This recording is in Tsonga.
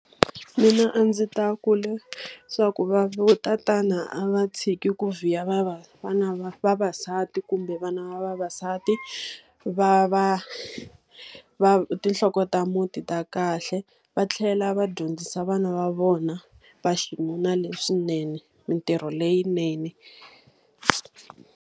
Mina a ndzi ta leswaku vatatana a va tshiki ku vhiya vavasati kumbe vana va vavasati. Va va va tinhloko ta muti ta kahle. Va tlhela va dyondzisa vana va vona va xinuna leswinene, mintirho leyinene.